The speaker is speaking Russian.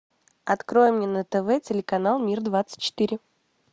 открой мне на тв телеканал мир двадцать четыре